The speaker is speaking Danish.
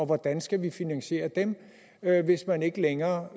hvordan skal vi finansiere dem hvis man ikke længere